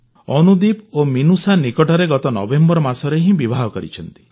ଅନୁଦୀପ ଓ ମିନୁଷା ନିକଟରେ ଗତ ନଭେମ୍ବର ମାସରେ ହିଁ ବିବାହ କରିଛନ୍ତି